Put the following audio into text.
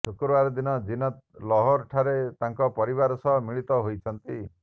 ଶୁକ୍ରବାର ଦିନ ଜୀନତ୍ ଲାହୋର ଠାରେ ତାଙ୍କ ପରିବାର ସହ ମିଳିତ ହୋଇଛନ୍ତି